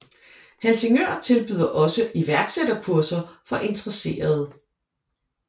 Helsingør tilbyder også iværksætterkurser for interesserede